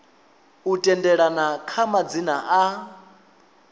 u tendelana kha madzina a